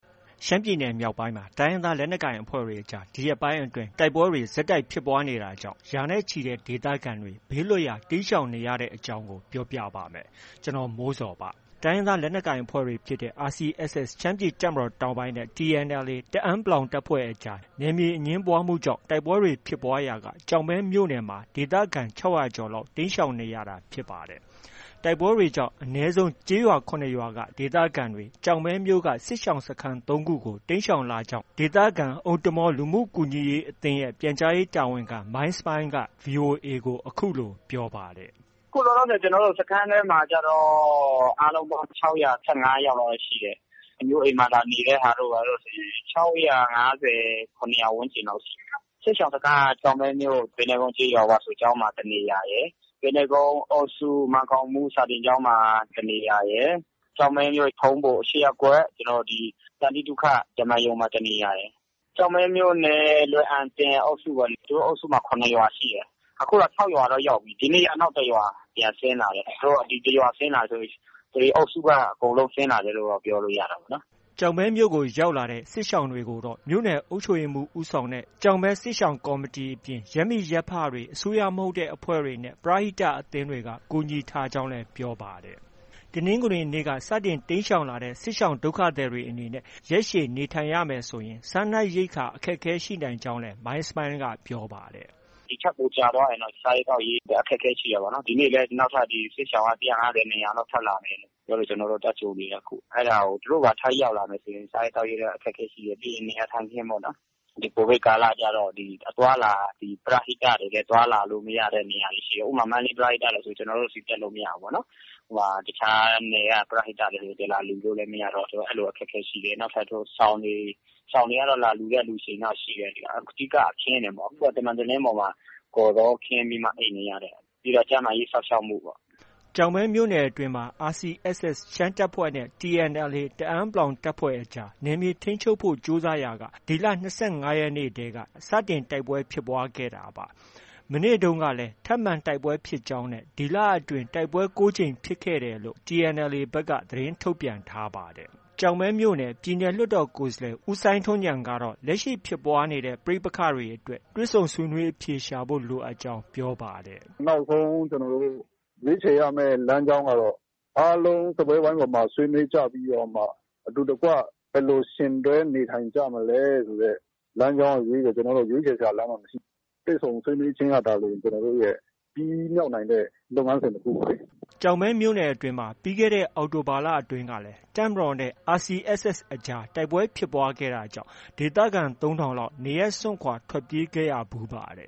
ရှမ်းပြည်နယ်မြောက်ပိုင်းမှာ တိုင်းရင်းသား လက်နက်ကိုင်အဖွဲ့တွေကြား ဒီရက်ပိုင်းအတွင်း တိုက်ပွဲတွေ ဆက်တိုက်ဖြစ်ပွားနေတာကြောင့် ရာနဲ့ချီတဲ့ဒေသခံတွေ ဘေးလွတ်ရာ တိမ်းရှောင်နေကြရတဲ့အကြောင်းကို ဗွီအိုအေမြန်မာပိုင်း သတင်းထောက် ကိုမိုးဇော်က ပြောပြပါမယ်။ တိုင်းရင်းသား လက်နက်ကိုင်အဖွဲ့တွေဖြစ်တဲ့ RCSS ရှမ်းပြည်တပ်မတော်တောင်ပိုင်းနဲ့ TNLA တအန်း တပ်ဖွဲ့အကြား နယ်မြေအငြင်းပွားမှုကြောင့် တိုက်ပွဲတွေဖြစ်ပွားရာက ကျောက်မဲမြို့နယ်မှာ ဒေသခံ ၆၀၀ ကျော်လောက် တိမ်းရှောင်နေရတာ ဖြစ်ပါတယ်။ တိုက်ပွဲတွေကြောင့် အနည်းဆုံး ကျေးရွာ ၇ ရွာက ဒေသခံတွေကို ကျောက်မဲမြို့က စစ်ရှောင်စခန်း ၃ ခုကို တိမ်းရှောင်လာခဲ့ကြောင်းလည်း ဒေသခံ အိုမ်တမာဝ်လူမှုကူညီရေးအသင်းရဲ့ ပြန်ကြားရေးတာဝန်ခံ မိုင်းစမိုင်းလ်က VOA ကို အခုလို ပြောပါတယ်။ “အခုလောလောဆယ် စခန်းထဲမှာကျတော့ အားလုံးပေါင်း ၆၁၅ ယောက်လောက်ပဲရှိတယ်။ အမျိုးအိမ်မှာ လာနေတဲ့ဟာတို့ ဘာတို့ဆို ၆၅၀၊ ၇၀၀ ဝန်းကျင်လောက်ရှိတယ်။ စစ်ရှောင်စခန်းက ကျောက်မဲမြို့ ပိန္နဲကုန်းကျေးရွာ ဝါဆိုကျောင်းမှာ တစ်နေရာရယ်။ ပိန္နဲကုန်းအုပ်စု မန်းကောင်းမှုစာသင်ကျောင်းမှာ တစ်နေရာရယ်။ ကျောက်မဲမြို့ ၈ ရပ်ကွက် ထုံးဘို သန္တိသုခဓမ္မာရုံမှာ တစ်နေရာရယ်။ ကျောက်မဲမြို့နယ် လွယ်အံတင်အုပ်စုပေါ့။ သူတို့အုပ်စုမှာ ၇ ရွာရှိတယ်။ အခု ၆ရွာတော့ ရောက်ပြီ။ ဒီနေ့ နောက်တစ်ရွာပြန်ဆင်းလာတယ်။ ဒီတစ်ရွာဆင်းလာတယ်ဆိုရင် ဒီအုပ်စုက အကုန်လုံးဆင်းလာတယ်ပြောလို့ ရတာပေါ့နော်။” ကျောက်မဲမြို့ကို ရောက်လာတဲ့ စစ်ရှောင်တွေကိုတော့ မြို့နယ်အုပ်ချုပ်ရေးမှူး ဦးဆောင်တဲ့ကျောက်မဲ စစ်ရှောင်ကော်မီအပြင် ရပ်မိရပ်ဖတွေ၊ အစိုးရမဟုတ်တဲ့အဖွဲ့တွေနဲ့ ပရဟိတအသင်းတွေက ကူညီထားကြောင်းလည်း ပြောပါတယ်။ တနင်္ဂနွေနေ့ကစတင် တိမ်းရှောင်လာကြတဲ့ စစ်ရှောင်ဒုက္ခသည်တွေ အနေနဲ့ ရက်ရှည် နေထိုင်ရမယ်ဆိုရင် စားနပ်ရိက္ခာ အခက်အခဲ ရှိနိုင်တယ်လို့လည်း မိုင်းစမိုင်းလ်က ပြောပါတယ်။ “ဒီထက် ပိုကြာသွားရင်တော့ စားရေးသောက်ရေး အခက်အခဲရှိတာပေါ့နော်။ ဒီနေ့လည်း စစ်ရှောင်က ၁၅၀၊ ၂၀၀ လောက် ထပ်လာနေတယ်ပြောလို့ ကျနော်တို့ သွားကြိုနေတယ်။ သူတို့ပါ ထပ်ရောက်လာရင် စားရေးသောက်ရေး အခက်အခဲရှိတယ်။ ပြီးတော့ နေရာထိုင်ခင်းပေါ့နော်။ ဒီ ကိုဗစ်ကာလကျတော့ ပရဟိတတွေလည်း အသွားအလာ အခက်အခဲရှိတယ်။ ဥပမာ မန္တလေး ပရဟိတတွေဆို ကျနော်တို့ဆီ တက်လို့ မရဘူးပေါ့နော်။ တခြားပရဟိတတွေ လာလှူလို့ မရတော့ အဲဒီလို အခက်အခဲရှိတယ်။ နောက်ထပ် စောင်တွေ၊ စောင်တွေကတော့ လာလှှုတဲ့သူတွေရှိတယ်။ အဓိက အခင်းတွေပေါ့။ အခုက သံမံတလင်းပေါ်မှာ ကော်ဇောခင်းပြီးမှ အိပ်နေရတယ်။ ပြီးတော့ ကျန်းမာရေးစောင့်ရှောက်မှုပေါ့။” ကျောက်မဲမြို့နယ်အတွင်းမှာ RCSS ရှမ်းတပ်ဖွဲ့နဲ့ TNLA တအန်း တပ်ဖွဲ့အကြား နယ်မြေထိန်းချုပ်ဖို့ ကြိုးစားရာက ဒီလ ၂၅ရက်နေ့တည်းက စတင်တိုက်ပွဲဖြစ်ပွားခဲ့တာပါ။ မနေ့တုန်းကလည်း ထပ်မံတိုက်ပွဲဖြစ်ကြောင်းနဲ့ ဒီလအတွင်း တိုက်ပွဲ ၉ ကြိမ်ဖြစ်ခဲ့တယ်လို့ TNLA ဘက်က သတင်းထုတ်ပြန်ထားပါတယ်။ ကျောက်မဲမြို့နယ် ပြည်နယ်လွှတ်တော်ကိုယ်စားလှယ် ဦးစိုင်းထွန်းဉာဏ်ကတော့ လက်ရှိဖြစ်ပွားနေတဲ့ ပဋိပက္ခတွေအတွက် တွေ့ဆုံဆွေးနွေးအဖြေရှာဖို့ လိုအပ်ကြောင်း ပြောပါတယ်။ “နောက်ဆုံး ကျနောတို့ ရွေးခြယ်ရမယ့် လမ်းကြောင်းကတော့ အားလုံးစားပွဲဝိုင်းပေါ်မှာ ဆွေးနွေးကြပြီးတော့မှ အတူတကွ ဘယ်လို ယှဉ်တွဲနေထိုင်ကြမလဲဆိုတဲ့ လမ်းကြောင်းကလွဲပြီးတော့ ရွေးခြယ်စရာလမ်းကြောင်းက မရှိဘူး။ တွေ့ဆုံဆွေးနွေးခြင်းကသာလျှင် ကျနော်တို့ရဲ့ ပြီးမြောက်နိုင်တဲ့ လုပ်ငန်းစဉ်တစ်ခုပေါ့လေ။” ကျောက်မဲမြို့နယ်အတွင်းမှာ ပြီးခဲ့တဲ့ အောက်တိုဘာလအတွင်းကလည်း တပ်မတော်နဲ့ RCSS အကြား တိုက်ပွဲဖြစ်ပွားခဲ့တာကြောင့် ဒေသခံ ၃,၀၀၀ လောက် နေရပ်စွန့်ခွာ ထွက်ပြေးခဲ့ကြရဖူးပါတ